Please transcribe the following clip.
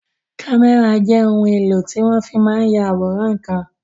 Kámẹ́rà jẹ́ ohun èlò tí wọ́n fi máa n ya àwòrán ǹkan